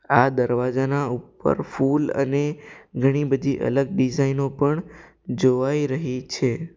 આ દરવાજાના ઉપર ફૂલ અને ઘણી બધી અલગ ડિઝાઇ નો પણ જોવાઈ રહી છે.